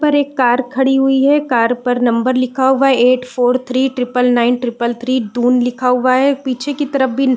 ऊपर एक कार खड़ी हुई है कार पर नंबर लिखा हुआ है eight four three triple nine triple three Doon लिखा हुआ है पीछे की तरफ भी --